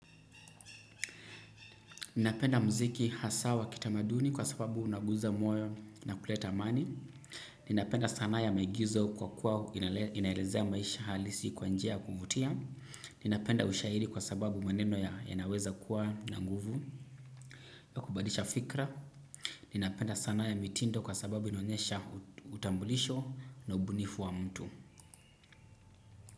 Ninapenda mziki hasa wa kitamaduni kwa sababu unaguza moyo na kuleta amani. Ninapenda sanaa ya maigizo kwa kuwa inaelezea maisha halisi kwa njia ya kuvutia. Ninapenda ushairi kwa sababu maneno yanaweza kuwa na nguvu. Ya kubadilisha fikra. Ninapenda sanaa ya mitindo kwa sababu inaonyesha utambulisho na ubunifu wa mtu.